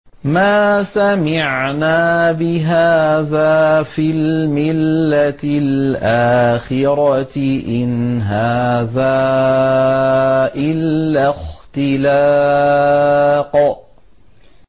مَا سَمِعْنَا بِهَٰذَا فِي الْمِلَّةِ الْآخِرَةِ إِنْ هَٰذَا إِلَّا اخْتِلَاقٌ